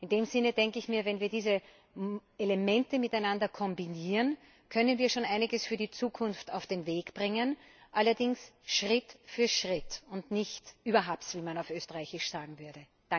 In diesem Sinne denke ich, wenn wir diese Elemente miteinander kombinieren, können wir schon einiges für die Zukunft auf den Weg bringen, allerdings Schritt für Schritt und nicht überhapps, wie man auf Österreichisch sagen würde.